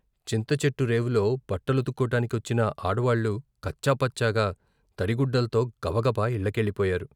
చింతచెట్టు రేవులో బట్టలుతుక్కోటాని కొచ్చిన ఆడవాళ్ళు కచ్చా పచ్చాగా తడిగుడ్డల్తో గబగబా ఇళ్ళకెళ్ళిపోయారు.